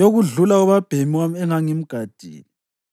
yokudlula ubabhemi wami engangimgadile;